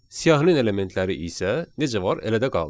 Siyahinin elementləri isə necə var, elə də qaldı.